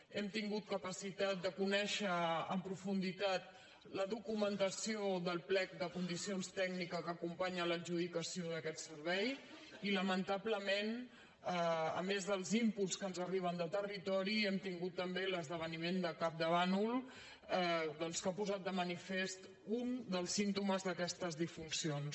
hem tingut capacitat de conèixer en profunditat la documentació del plec de condicions tècniques que acompanya l’adjudicació d’aquest servei i lamentablement a més dels inputs ri hem tingut també l’esdeveniment de campdevànol doncs que ha posat de manifest un dels símptomes d’aquestes disfuncions